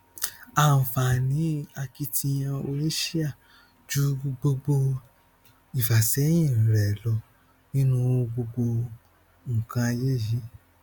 àǹfààní akitiyan oníṣíà ju gbogbo ìfàsẹyìn rẹ lọ nínú gbogbo nnkan ayé yìí